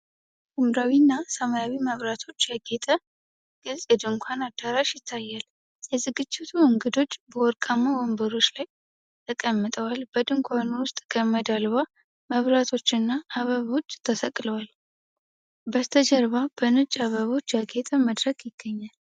ሐምራዊ እና ሰማያዊ መብራቶች ያጌጠ ግልጽ የድንኳን አዳራሽ ይታያል። የዝግጅቱ እንግዶች በወርቃማ ወንበሮች ላይ ተቀምጠዋል፣ በድንኳኑ ውስጥ ገመድ አልባ መብራቶችና አበቦች ተሰቅለዋል። በስተጀርባ በነጭ አበባዎች ያጌጠ መድረክ ይገኛል።